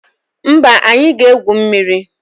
Mba, anyị ga-egwu mmiri